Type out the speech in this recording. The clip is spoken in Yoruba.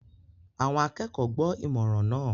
Àwọn akẹ́kọ̀ọ́ gbọ́ ìmọ̀ràn náà